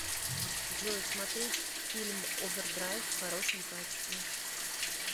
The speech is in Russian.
джой смотреть фильм овердрайв в хорошем качестве